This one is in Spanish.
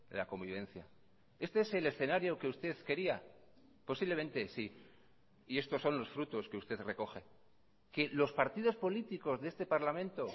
la convivencia este es el escenario que usted quería posiblemente sí y estos son los frutos que usted recoge que los partidos políticos de este parlamento